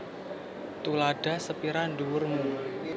Tuladha sepira dhuwur mu